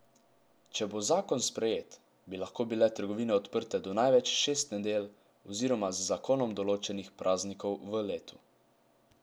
Če bo zakon sprejet, bi lahko bile trgovine odprte do največ šest nedelj oziroma z zakonom določenih praznikov v letu.